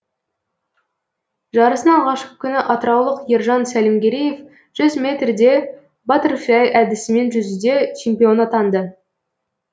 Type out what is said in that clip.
жарыстың алғашқы күні атыраулық ержан сәлімгереев жүз метрде баттерфляй әдісімен жүзуде чемпион атанды